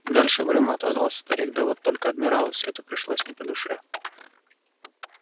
дальше угрюмо отозвался старик да вот только адмиралу всё это пришлось не по душе